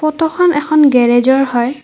ফটোখন এখন গেৰেজৰ হয়।